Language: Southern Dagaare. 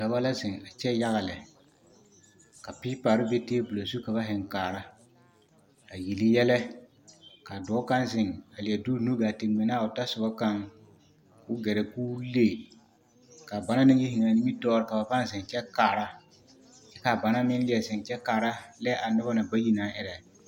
Dɔba la zeŋ a kyɛ yaga lɛ ka piipare be teebol zu ka ba heŋ kaara a yele yɛlɛ ka dɔɔ kaŋ zeŋ a leɛ de o nu gaa te ŋmɛ naa o tasoba kaŋ k'o gɛrɛ k'o le ka banaŋ yi zeŋ a nimitɔɔre ka ba pãã zeŋ kyɛ kaara kyɛ kaa banaŋ meŋ leɛ zeŋ kyɛ kaara lɛ a noba na bayi naŋ erɛ.